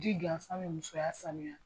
Jiri gansan bɛ musoya sanuiya!